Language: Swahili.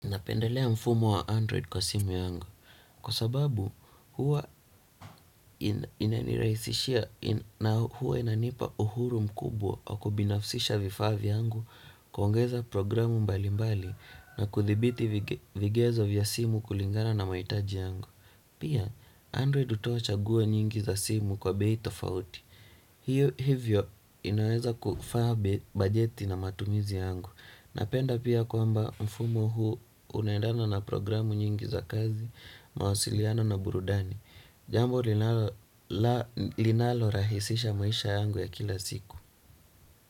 Napendelea mfumo wa Android kwa simu yangu, kwa sababu huwa inanirahisishia na huwa inanipa uhuru mkubwa wa kubinafsisha vifaa yangu kuongeza programu mbali mbali na kuthibiti vigezo vya simu kulingana na mahitaji yangu. Pia Android hutoa chaguo nyingi za simu kwa bei tofauti. Hivyo inaweza kufaa bajeti na matumizi yangu. Napenda pia kwamba mfumo huu unendana na programu nyingi za kazi mawasiliano na burudani. Jambo linalo rahisisha maisha yangu ya kila siku.